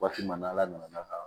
Waati min na ala nana ka